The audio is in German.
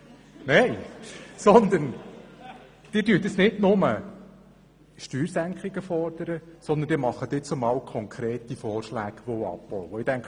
Sie fordern nicht nur Steuersenkungen, sondern machen nun auch konkrete Vorschläge, wo abgebaut werden soll.